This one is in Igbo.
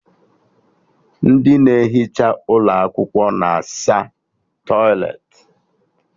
Ndị na-ehicha ụlọ akwụkwọ na asa tọịletị